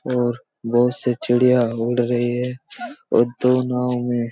और बहुत से चिड़ियाँ उड़ रही हैं और एक-दो नांव में--